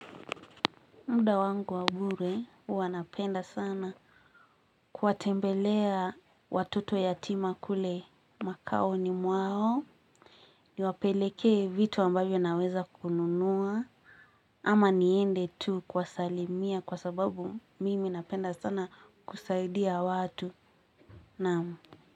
Muda wangu wabure huwanapenda sana kuwatembelea watoto yatima kule makao yao niwapelekee vitu ambayo naweza kununua ama niende tu kwasalimia kwa sababu mimi napenda sana kusaidia watu namu.